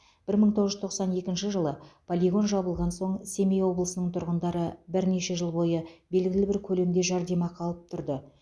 бір мың тоғыз жүз тоқсан екінші жылы полигон жабылған соң семей облысының тұрғындары бірнеше жыл бойы белгілі бір көлемде жәрдемақы алып тұрды